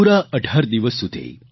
પૂરા 18 દિવસ સુધી